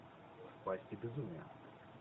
в пасти безумия